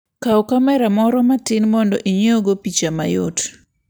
Kaw kamera moro matin mondo inyiewgo picha mayot.